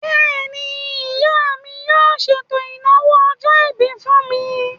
Bẹ́ẹ̀ni, ìyá mi yóò ṣètò ìnáwó ọjọ́-ìbí fún mi